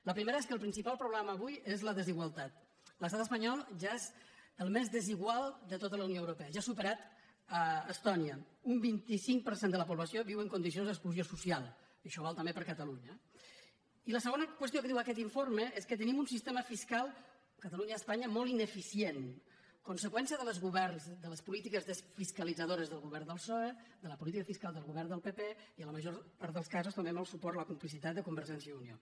la primera és que el principal problema avui és la desigualtat l’estat espanyol ja és el més desigual de tota la unió europea ja ha superat estònia un vint cinc per cent de la població viu en condicions d’exclusió social i això val també per a catalunya eh i la segona qüestió que diu aquest informe és que tenim un sistema fiscal catalunya i espanya molt ineficient conseqüència dels governs de les polítiques fiscalitzadores del govern del psoe de la política fiscal del govern del pp i en la majora part dels casos també amb el suport la complicitat de convergència i unió